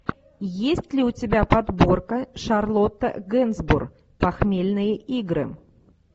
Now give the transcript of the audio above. есть ли у тебя подборка шарлотта генсбур похмельные игры